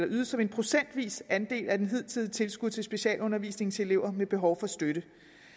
ydes som en procentvis andel af det hidtidige tilskud til specialundervisning til elever med behov for støtte